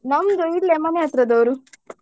ನಮ್ದು ಇಲ್ಲೇ ಮನೆ ಹತ್ರದವರು.